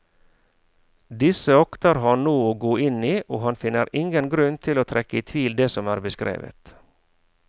Disse akter han nå å gå inn i, og han finner ingen grunn til å trekke i tvil det som er beskrevet.